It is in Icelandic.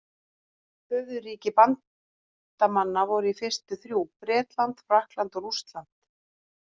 Höfuðríki bandamanna voru í fyrstu þrjú: Bretland, Frakkland og Rússland.